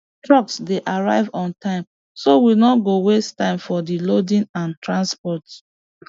trucks dey arrive on time so we no go waste time for di loading and transport